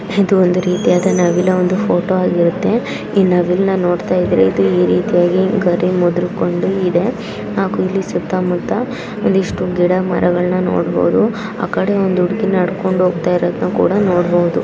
ಇದು ಒಂದು ರೀತಿಯಾದ ನವಿಲಿನ ಒಂದು ಫೋಟೋ ಆಗಿರುತ್ತೆ ಇದನ್ನ ನೋಡ್ತಾ ಇದ್ರೆ ನವಿಲ ನ ಗರಿ ಮುದರ್ಕೊಂಡು ಇದೆ ಹಾಗೆ ಇದರ ಸುತ್ತ ಮುತ್ತ ಗಿಡ ಮರ ಇರೋದನ್ನ ನೋಡಬಹುದು ಆ ಕಡೆ ಒಬ್ಬಳು ಹುಡಗಿ ನಡಕೊಂಡ ಹೋಗ್ತಾ ಇರೋದನ್ನ ಕೂಡ ನೋಡಬಹುದು.